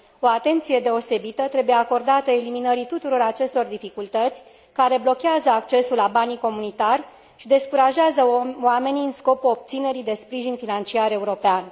O atenție deosebită trebuie acordată eliminării tuturor acestor dificultăți, care blochează accesul la banii comunitari și descurajează oamenii în scopul obținerii de sprijin financiar european.